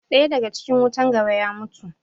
Ɗaya daga cikin wutan gaba ya mutu.